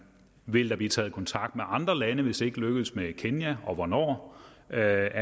vil der blive taget kontakt med andre lande hvis ikke det lykkes med kenya og hvornår er